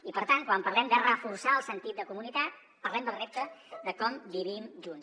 i per tant quan parlem de reforçar el sentit de comunitat parlem del repte de com vivim junts